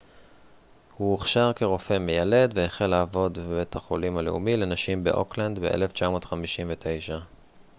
הוא הוכשר כרופא מיילד והחל לעבוד בבית החולים הלאומי לנשים באוקלנד ב-1959